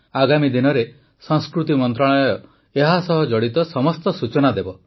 ଆଗାମୀ ଦିନରେ ସଂସ୍କୃତି ମନ୍ତ୍ରଣାଳୟ ଏହାସହ ଜଡ଼ିତ ସମସ୍ତ ସୂଚନା ଦେବ